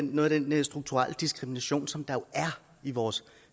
noget af den strukturelle diskrimination som der jo er i vores